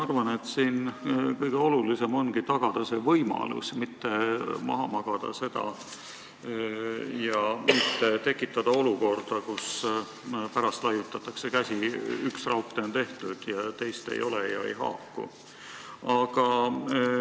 Arvan, et kõige olulisem ongi tagada see, et mitte magama jääda ja tekitada olukorda, kus pärast laiutatakse käsi: üks raudtee on tehtud, teist ei ole ja lahendused ei haaku.